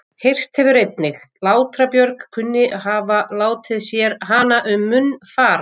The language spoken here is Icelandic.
Heyrst hefur einnig Látra-Björg kunni að hafa látið sér hana um munn fara.